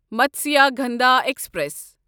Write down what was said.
Matsyagandha express